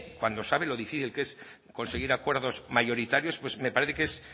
cuando sabe lo difícil que es conseguir acuerdos mayoritarios pues me parece que es